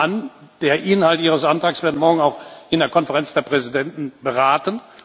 Ich nehme an, der Inhalt Ihres Antrags wird morgen auch in der Konferenz der Präsidenten beraten.